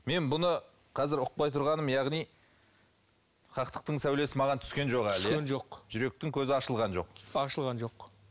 мен бұны қазір ұқпай тұрғаным яғни хақтықтың сәулесі маған түскен жоқ әлі иә түскен жоқ жүректің көзі ашылған жоқ ашылған жоқ